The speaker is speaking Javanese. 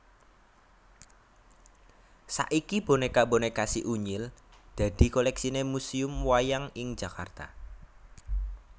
Saiki bonéka bonéka Si Unyil dadi kolèksiné Museum Wayang ing Jakarta